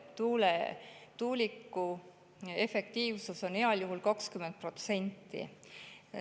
Tuuliku efektiivsus on heal juhul 20%.